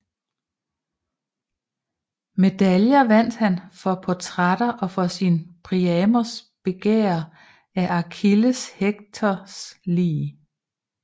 Medaljer vandt han for portrætter og for sin Priamos begærer af Achilles Hektors lig